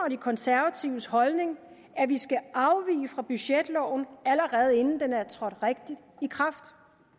og de konservatives holdning at vi skal afvige fra budgetloven allerede inden den er trådt rigtig i kraft